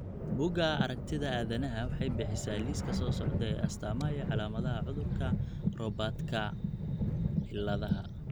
Bugaa aragtida aDdanaha waxay bixisaa liiska soo socda ee astamaha iyo calaamadaha cudurka Robertkabciladha